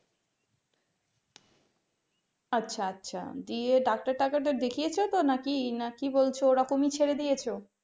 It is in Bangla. আচ্ছা আচ্ছা দিয়ে ডাক্তার টাতার দেখিয়েছো তো নাকি কি না কি বলছো ওরকমই ছেড়ে দিয়েছো?